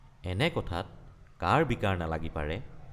এনে কথাত কাৰ বিকাৰ নালাগি পাৰে।